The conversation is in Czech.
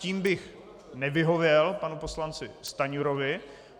Tím bych nevyhověl panu poslanci Stanjurovi.